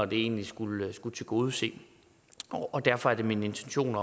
den egentlig skulle skulle tilgodese derfor er det min intention